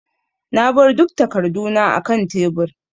Na bar duk takarduna akan tebur.